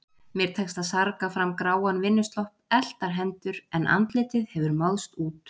Mér tekst að sarga fram gráan vinnuslopp, eltar hendur, en andlitið hefur máðst út.